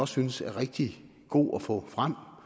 synes er rigtig god at få frem